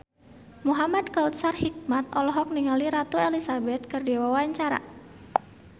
Muhamad Kautsar Hikmat olohok ningali Ratu Elizabeth keur diwawancara